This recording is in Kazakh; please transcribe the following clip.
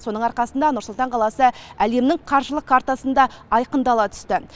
соның арқасында нұр сұлтан қаласы әлемнің қаржылық картасында айқындала түсті